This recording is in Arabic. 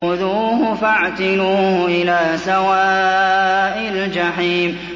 خُذُوهُ فَاعْتِلُوهُ إِلَىٰ سَوَاءِ الْجَحِيمِ